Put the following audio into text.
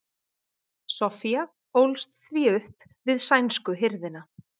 soffía ólst því upp við sænsku hirðina